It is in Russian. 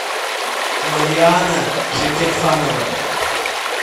марианна шакирханова